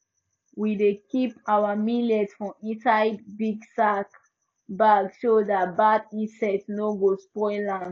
we dey keep our millet for inside big sack bag so that bad insect no go spoil am